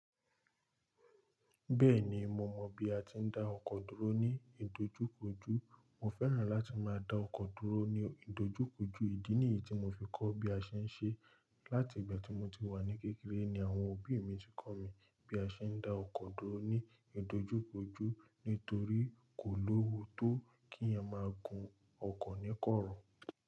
Bẹ́ẹ̀ni mo mọ̀ bí a ti ń dá ọkọ̀ dúró ní ìdojúkọjú. Mo fẹ́ràn láti máa dá ọkọ̀ dúró ní ìdojúkọjú. Ìdí nìyí tí mo fi kọ́ bí a ṣe ń ṣe. Láti ìgbà tí mo ti wà ní kékeré ni àwọn òbí mi ti kọ mí bí a ṣe ń dá ọkọ̀ dúró ní ìdojúkọjú nítorí kò lówó tó kí a máa gun ọkọ̀ ní kọ̀rọ̀.